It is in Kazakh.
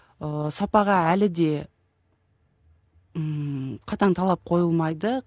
ыыы сапаға әлі де ммм қатаң талап қойылмайды